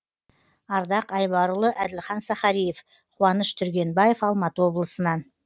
ардақ айбарұлы әділхан сахариев қуаныш түргенбаев алматы облысынан